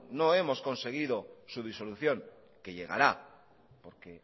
no hemos conseguido su disolución que llegará porque